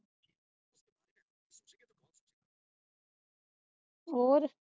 ਹੋਰ